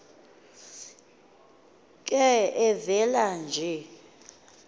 ke evela nje